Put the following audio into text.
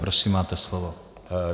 Prosím máte slovo.